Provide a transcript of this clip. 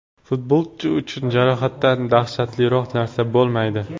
Futbolchi uchun jarohatdan dahshatliroq narsa bo‘lmaydi.